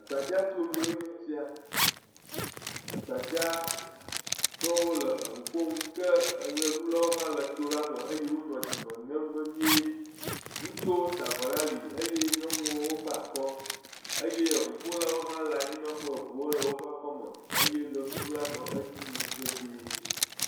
Gbadzatonue nye esia. Gbadzatɔwo le eŋu ƒom. Ke eʋeɖulawo hã nɔ tola me eye wonɔ dzime ŋem vevie. Ŋutsuwo sa avɔ ɖe ali eye nyɔnuwo gba akɔ. Eye eŋuƒolawo hã le anyinɔƒe, eŋuwo le woƒe akɔme eye ʋeɖuɖula nɔ edzi yim vevie.